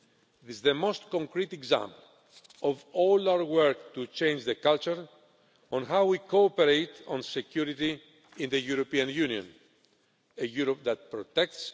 It is the most concrete example of all our work to change the culture on how we cooperate on security in the European Union a Europe that protects